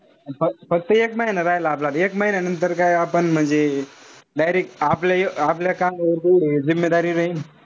फक्त एक महिना राहिला आपला आता. एक महिन्यानंतर काय आपण म्हणजे direct आपल्या आपल्या खांद्यावर तेवढी